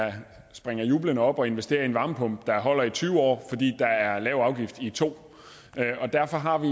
springer jublende op og investerer i en varmepumpe der holder i tyve år fordi der er lav afgift i to år derfor har vi